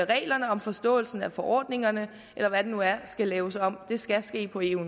reglerne om forståelsen af forordningerne eller hvad det nu er skal laves om det skal ske på eu